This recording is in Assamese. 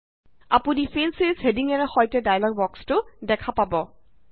আপুনি ফিল ছিৰিজ হেডিঙেৰে সৈতে ডায়্লগ বক্সটো দেখা পাব